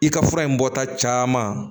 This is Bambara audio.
I ka fura in bɔta caman